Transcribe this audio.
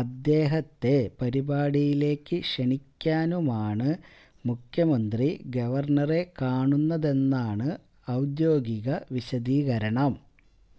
അദ്ദേഹത്തെ പരിപാടിയിലേക്ക് ക്ഷണിക്കാനുമാണ് മുഖ്യമന്ത്രി ഗവര്ണറെ കാണുന്നതെന്നാണ് ഔദ്യോഗിക വിശദീകരണം